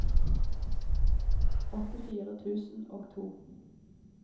åttifire tusen og to